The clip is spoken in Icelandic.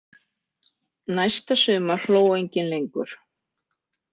Næsta sumar hló enginn lengur.